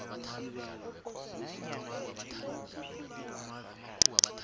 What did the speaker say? khona phakathi kwabalingani